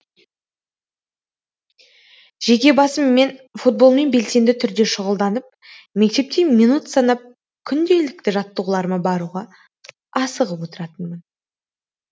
жеке басым мен футболмен белсенді түрде шұғылданып мектепте минут санап күнделікті жаттығуларыма баруға асығып отыратынмын